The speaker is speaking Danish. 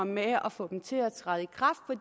med at at få dem til at træde